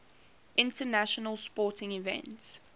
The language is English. international sporting events